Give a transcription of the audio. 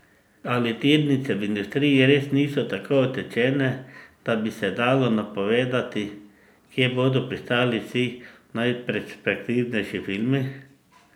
Ali tirnice v industriji res niso tako utečene, da bi se dalo napovedati, kje bodo pristali vsi najperspektivnejši filmi?